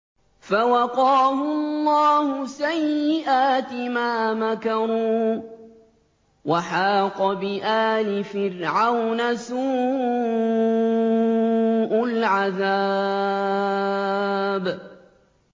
فَوَقَاهُ اللَّهُ سَيِّئَاتِ مَا مَكَرُوا ۖ وَحَاقَ بِآلِ فِرْعَوْنَ سُوءُ الْعَذَابِ